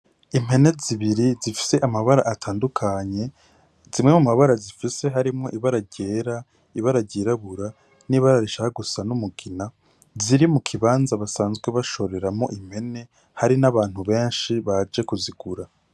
Impene zibiri zifise amabara atandukanye zimwe mumabara zifise harimwo ibara ryera, ibara ryirabura n' ibara rishaka gusa n' umugina ziri mukibanza basanzwe bashoreramwo impene hari n' abantu benshi baje kuzigura.